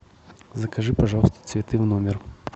закажи пожалуйста цветы в номер